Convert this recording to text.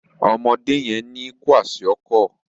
Ọmọdé yén ní Kwaṣiọkọ